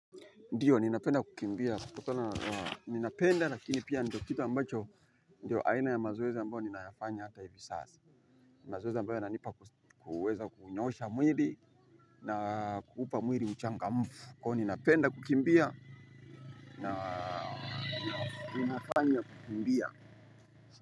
Ndio ninapenda kukimbia, ninapenda lakini pia ndio kitu ambacho, ndio aina ya mazoezi ambayo ninayafanya hata hivi sasa, ni mazoezi ambayo yananipa kuweza kunyoosha mwili na kupa mwili uchangamfu, kwa hiyo ninapenda kukimbia na ninafanya kukimbia.